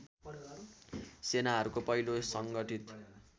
सेनाहरूको पहिलो सङ्गठित